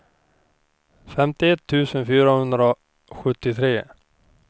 femtioett tusen fyrahundrasjuttiotre